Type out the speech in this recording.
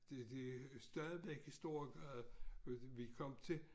Det det stadigvæk i Storegade vi kom til